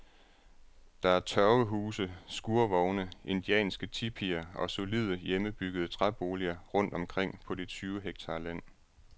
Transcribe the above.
Der er tørvehuse, skurvogne, indianske tipier og solide, hjemmebyggede træboliger rundt omkring på de tyve hektar land.